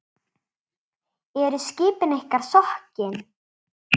Eru skipin ykkar sokkin?